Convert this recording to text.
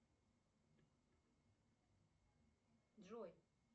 джой